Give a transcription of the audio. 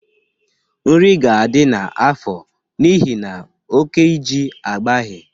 Nri ga-adị n’afọ n’ihi na oke iji agbaghị.